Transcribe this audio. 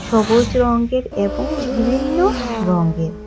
সবুজ রঙের এবং বিভিন্ন রংয়ের--